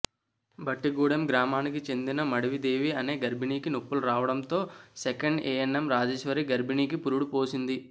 బట్టిగూడెం గ్రామానికి చెందిన మడివి దేవి అనే గర్భిణీకి నొప్పులు రావడంతో సెకండ్ ఏఎన్ఎం రాజేశ్వరి గర్భిణీకి పురుడు పోసింది